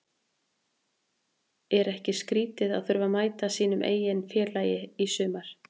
En er ekki skrítið að þurfa að mæta sínu eigin félagi í sumar?